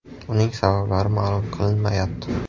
Uning sabablari ma’lum qilinmayapti.